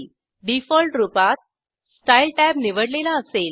default रूपातStyle tab निवडलेला असेल